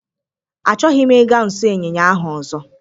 Achọghị m ịga nso ịnyịnya ahụ ọzọ